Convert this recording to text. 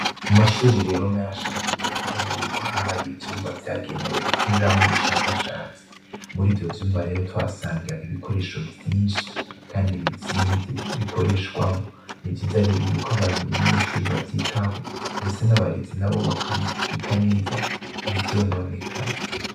Mumashure rero menshi dukunze kubona yuko haba hari ivyumba vyagenewe gukoreramwo ubushakashatsi, murivyo vyumba rero twahasanga ibikoresho vyinshi Kandi bizimvye bikoreshwamwo, nivyiza yuko abanyeshure bavyitaho ndetse nabarezi nabo bakabibika neza ntivyononekare.